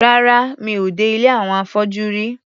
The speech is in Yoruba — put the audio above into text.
Rárá, mi ò dé ilé àwọn afọ́jú rí.